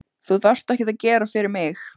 Þú þarft ekkert að gera fyrir mig.